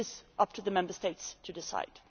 It is up to the Member States to decide.